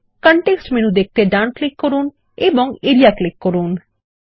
context menu দেখতে ডান click করুন এবং এরিয়া ক্লিক করুন